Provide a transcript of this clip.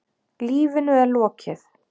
Lífinu er lokið.